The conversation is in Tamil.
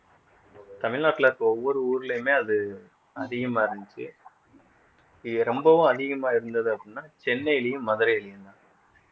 தமிழ்நாட்டுல இருக்கிற ஒவ்வொரு ஊர்லயுமே அது அதிகமா இருந்துச்சு இது ரொம்பவும் அதிகமா இருந்தது அப்படின்னா சென்னையிலயும் மதுரையிலயும்தான்